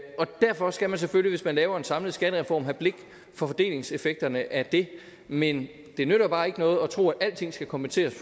og derfor skal man selvfølgelig hvis man laver en samlet skattereform have blik for fordelingseffekterne af dét men det nytter bare ikke noget at tro at alting skal kompenseres